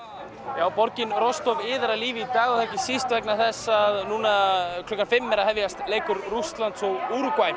já borgin Rostov iðar af lífi í dag og það er ekki síst vegna þess að núna klukkan fimm er að hefjast leikur Rússlands og